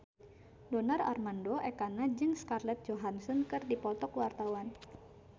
Donar Armando Ekana jeung Scarlett Johansson keur dipoto ku wartawan